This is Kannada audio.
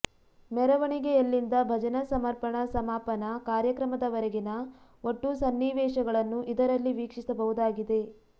ಮೆರವಣಿಗೆಯಲ್ಲಿಂದ ಭಜನಾ ಸಮರ್ಪಣಾ ಸಮಾಪನ ಕಾರ್ಯಕ್ರಮದವರೆಗಿನ ಒಟ್ಟು ಸನ್ನಿವೇಶಗಳನ್ನು ಇದರಲ್ಲಿ ವೀಕ್ಷಿಸಬಹುದಾಗಿದೆ